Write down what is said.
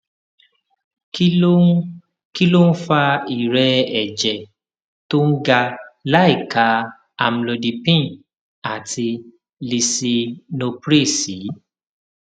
kí ló ń kí ló ń fa ìrẹẹ ẹjẹ tó ga láìka amlodipine àti lisinopril sí